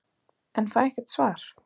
en fæ ekkert svar.